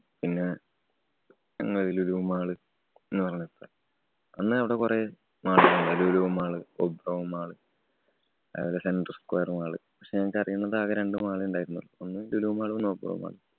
പിന്ന Lulu mall എന്ന് പറഞ്ഞ സ്ഥലം. അന്ന് അവിടെ കൊറേ lulu mall, Obro mall അതേപോലെ central square mall പക്ഷേ ഞങ്ങക്ക് അറിയുന്നതാകെ രണ്ടു mall ഉണ്ടായിരുന്നുള്ളൂ. ഒന്നു lulu mall, ഒന്ന് obroi mall